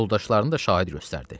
Yoldaşlarını da şahid göstərdi.